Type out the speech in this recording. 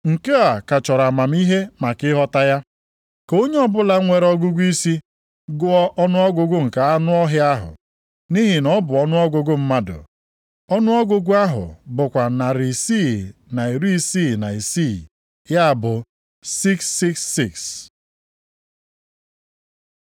Nke a ka chọrọ amamihe maka ịghọta ya. Ka onye ọbụla nwere ọgụgụisi, gụọ ọnụọgụgụ nke anụ ọhịa ahụ, nʼihi na ọ bụ ọnụọgụgụ mmadụ. + 13:18 Nke a bụ akara ọnụọgụgụ mmadụ e kere eke. Ọnụọgụgụ ahụ bụkwa narị isi na iri isi na isii, ya bụ 666.